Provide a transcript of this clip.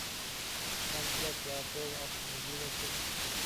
трансляция апл астон вилла челси